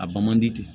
A bɔ man di ten